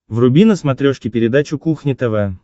вруби на смотрешке передачу кухня тв